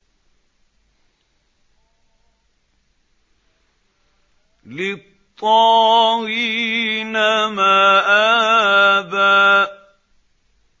لِّلطَّاغِينَ مَآبًا